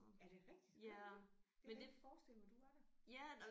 Er det rigtigt gør du det? Jeg kunne ikke forestille mig du var der